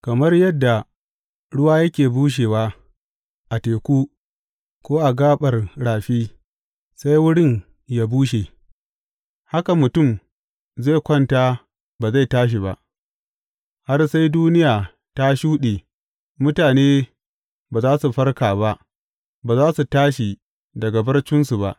Kamar yadda ruwa yake bushewa a teku ko a gaɓar rafi sai wurin yă bushe, haka mutum zai kwanta ba zai tashi ba; har sai duniya ta shuɗe mutane ba za su farka ba, ba za su tashi daga barcinsu ba.